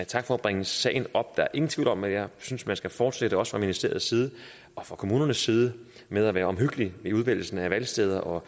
tak for at bringe sagen op der er ingen tvivl om at jeg synes man skal fortsætte også fra ministeriets side og fra kommunernes side med at være omhyggelige i udvælgelsen af valgsteder og